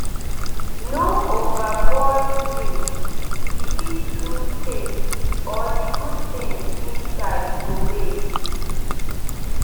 no overboil milk—e fit lose taste or the good things inside go waste.